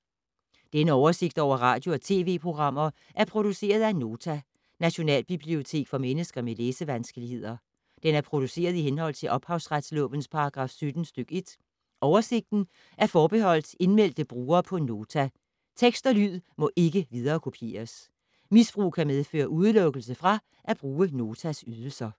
Denne oversigt over radio og TV-programmer er produceret af Nota, Nationalbibliotek for mennesker med læsevanskeligheder. Den er produceret i henhold til ophavsretslovens paragraf 17 stk. 1. Oversigten er forbeholdt indmeldte brugere på Nota. Tekst og lyd må ikke viderekopieres. Misbrug kan medføre udelukkelse fra at bruge Notas ydelser.